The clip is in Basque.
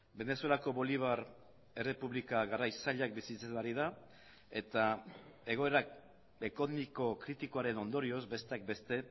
venezuelako bolivar errepublika garai zailak bizitzen ari da eta egoerak kritikoaren ondorioz besteak beste